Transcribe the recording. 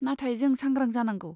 नाथाय जों सांग्रां जानांगौ।